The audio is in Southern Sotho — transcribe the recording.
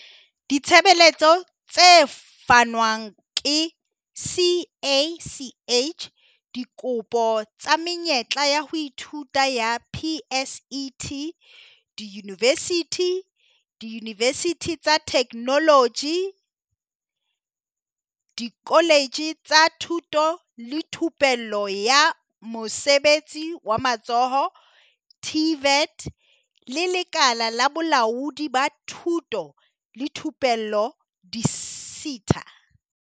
Ditshebeletso tse fanwang ke CACH Dikopo tsa menyetla ya ho ithuta ya PSET diyunivesithi, diyunivesithi tsa Theknoloji, dikoletje tsa Thuto le Thupello ya Mosebetsi wa Matsoho, TVET, le Lekala la Bolaodi ba Thuto le Thupello di-SETA.